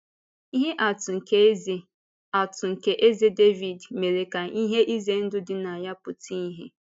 Ihe atụ nke Eze atụ nke Eze Dàvíd mere ka ihe ize ndụ dị na ya pụta ìhè.